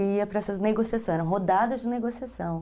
E ia para essas negociações, eram rodadas de negociação.